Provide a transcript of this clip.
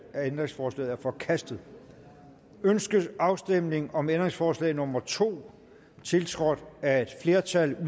ændringsforslaget er forkastet ønskes afstemning om ændringsforslag nummer to tiltrådt af et flertal